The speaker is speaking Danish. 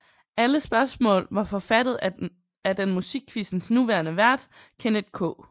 Alle spørgsmål var forfattet af den Musikquizzens nuværende vært Kenneth K